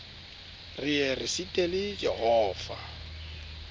re ye re sitele jehova